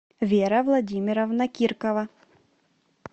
вера владимировна киркова